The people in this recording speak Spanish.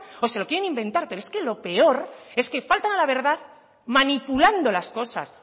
o se lo quieren inventar pero es que lo peor es que faltan a la verdad manipulando las cosas